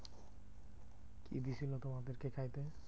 কি দিয়েছিলো তোমাদেরকে খাইতে?